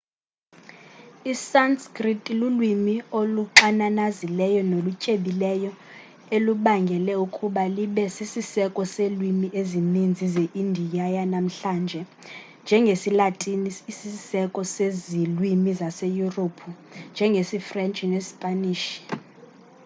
i-sanskrit lulwimi oluxananazileyo nolutyebileyo elubangele ukuba libe sisiseko selwimi ezinintsi ze indiya yanamhlanje njengesilatini isisiseko sezilwimi zaseyurophu njengesifrentshi nesipanish